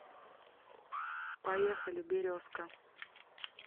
поехали березка